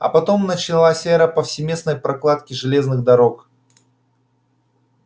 а потом началась эра повсеместной прокладки железных дорог